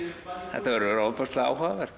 þetta verður áhugavert